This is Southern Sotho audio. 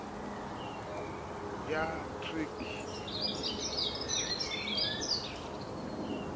ya trc e ke ke